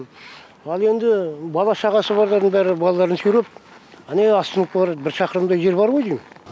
ал енді бала шағасы барлардың бәрі балаларын сүйреп ане остановкаға қарай бір шақырымдай жер бар ғой дейм